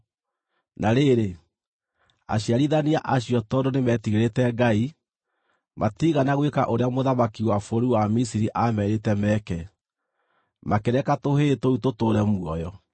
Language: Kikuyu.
Na rĩrĩ, aciarithania acio tondũ nĩmetigĩrĩte Ngai, matiigana gwĩka ũrĩa mũthamaki wa bũrũri wa Misiri aamerĩte meke; makĩreka tũhĩĩ tũu tũtũũre muoyo.